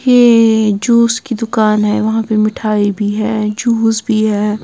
ये जूस की दुकान है वहां पे मिठाई भी है जूस भी है।